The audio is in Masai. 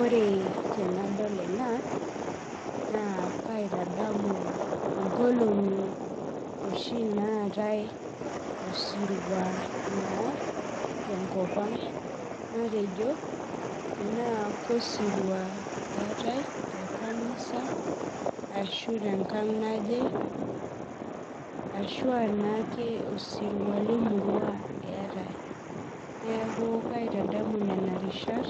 ore tenadol ena, na kaitadamu inkolongi oshi natae osirua na tenkop ang, natejo tena osirua etae tekanisa ashu tenkang naje, ashu a naake osirua lemurua etae, niaku kaitadamu nena rishat